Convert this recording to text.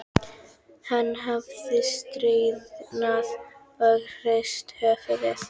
Hann hafði stirðnað og hrist höfuðið.